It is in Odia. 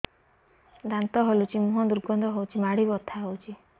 ଦାନ୍ତ ହଲୁଛି ମୁହଁ ଦୁର୍ଗନ୍ଧ ହଉଚି ମାଢି ବଥା ହଉଚି